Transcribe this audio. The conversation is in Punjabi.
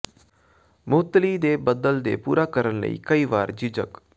ਮੁਅੱਤਲੀ ਦੇ ਬਦਲ ਦੇ ਪੂਰਾ ਕਰਨ ਲਈ ਕਈ ਵਾਰ ਝਿਜਕ